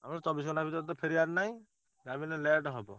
ଆମର ଚବିଶି ଘଣ୍ଟା ଭିତରେ ତ ଫେରିବାର ନାଇଁ ଯାହାବି ହେଲେ late ହବ।